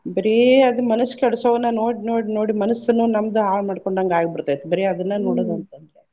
ಬರೇ ಅದ್ ಮನಸ್ಸ್ ಕೆಡ್ಸೊವನ ನೋಡ್ ನೋಡ್ ನೋಡಿ ಮನಸ್ಸನ್ನು ನಮ್ದು ಹಾಳ್ ಮಾಡ್ಕೊಂಡಂಗ ಆಗಿ ಬಿಡ್ತೈತೆ ಬರೇ ಅದನ್ನ ನೋಡೋದ ಅಂತ್ ಅಂದ್ರ.